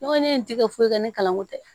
Ɲɔgɔn ɲɛ in ti ka foyi kɛ ni kalanko tɛ